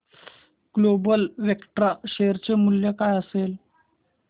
global Vectra share चे मूल्य काय असेल